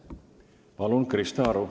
Palun, Krista Aru!